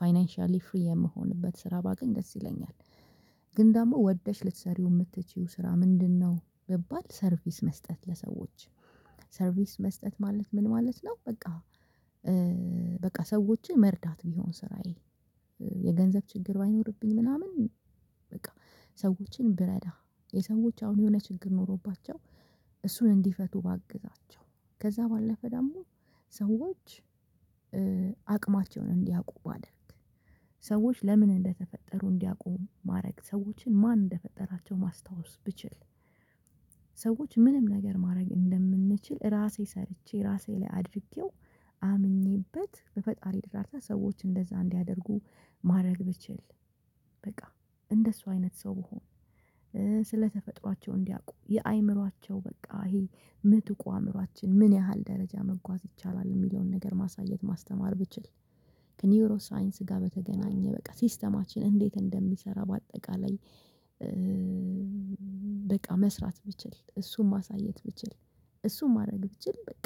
ፋይናንሻሊ ፍሪ የምሆንበት ስራ ባገኝ ደስ ይለኛል። ግን ደግሞ ወደሽ ልትሰሪው የምትችይው ስራ ምንድን ነው ብባል? ሰርቪስ መስጠት ለሰወች። ሰርቪስ መስጠት ማለት ምን ማለት ነው? በቃ በቃ ሰዎችን መርዳት ቢሆን ስራዬ። የገንዘብ ችግር ባይኖርብኝ ምናምን። በቃ ሰዎችን ብረዳ የሰዎች አሁን የሆነ ችግር ኖሮባቸው። እሱን እንዲፈቱ ባግዛቸው ከዛ ባለፈ ደግሞ ሰዎች አቅማቸውን እንዲያውቁ ባደርግ። ሰዎች ለምን እንደተፈጠሩ እንዲያውቁ ማድረግ ሰዎችን ማን እንደፈጠራቸው ማስታወስ ብችል። ሰዎች ምንም ነገር ማድረግ እንደምንችል ራሴ ሰርቼ ራሴ ላይ አድርጌው አምኜበት በፈጣሪ እርዳታ ሰዎች እንደዛ እንዲያደርጉ ማድረግ ብችል። በቃ እንደሱ አይነት ሰው ብሆን። ስለተፈጥሯቸው እንዲያቁ የአእምሮአቸው በቃ ይሄ የምጥቁ አእምሮአችን ምን ያህል ደረጃ መጓዝ ይቻላል የሚለውን ነገር ማሳየት ማስተማር ብችል። ከኒውሮ ሳይንስ ጋር በተገናኘ በቃ ሲስተማችን እንዴት እንደሚሰራ በአጠቃላይ። በቃ መስራት ብችል እሱን ማሳየት ብችል። እሱን ማድረግ ብችል በቃ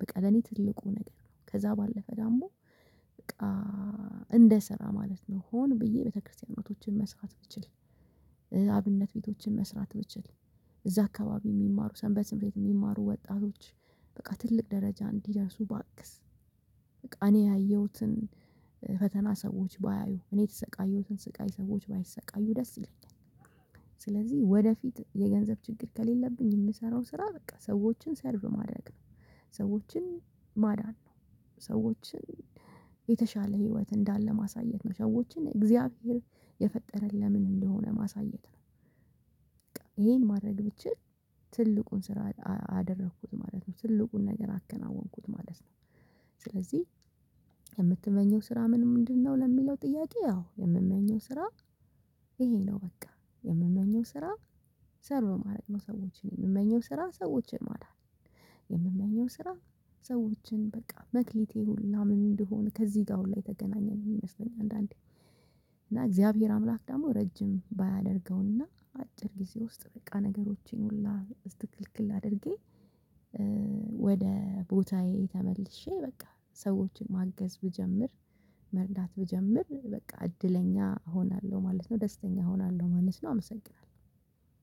በቃ ለኔ ትልቁ ነገር ነው። ከዛ ባለፈ ደግሞ በቃ እንደ ስራ ማለት ነው ሆን ብዬ ቤተክርስቲያኖችን መስራት ብችል። አብነት ቤቶችን መስራት ብችል። እዛ አካባቢ የሚማሩ ሰንበት ትምህርት ቤት የሚማሩ ወጣቶች በቃ ትልቅ ደረጃ እንዲደርሱ ባግዝ። እኔ ያየሁትን ፈተና ሰዎች ባያዩ እኔ የተሰቃየሁትን ስቃይ ሰዎች ባይሰቃዩ ደስ ይለኛል። ስለዚህ ወደፊት የገንዘብ ችግር ከሌለብኝ የምሰራው ስራ በቃ ሰዎችን ሰርቭ ማድረግ ነው። ሰዎችን ማዳን ነው። ሰዎችን የተሻለ ህይወት እንዳለ ማሳየት ነው ሰዎችን እግዚአብሔር የፈጠረን ለምን እንደሆነ ማሳየት ነው። በቃ ይሄን ማድረግ ብችል ትልቁን ስራ አደርኩት ማለት ነው ትልቁን ነገር አከናወንኩት ማለት ነው። ስለዚህ የምትመኝው ስራ ምንድነው? ለሚለው ጥያቄ ያው የምመኘው ስራ ይሄ ነው። በቃ የምመኘው ስራ ሰርቭ ማድረግ ነው። ሰዎችን የምመኘው ስራ ሰዎችን ማዳን ነው። የምመኘው ስራ ሰዎችን በቃ መክሊቴ ሁላ ምን እንደሆነ ከዚህ ጋር ሁላ የተገናኘ ነው። የሚመስለኝ አንዳንዴ እና እግዚአብሔር አምላክ ደግሞ ረጅም ባያደርገውና አጭር ጊዜ ውስጥ በቃ ነገሮችን ሁላ እስትክልክል አድርጌ። ወደ ቦታዬ ተመልሼ በቃ ሰዎችን ማገዝ ብጀምር መርዳት ብጀምር በቃ እድለኛ እሆናለሁ ማለት ነው። ደስተኛ እሆናለሁ ማለት ነው። አመሰግናለሁ።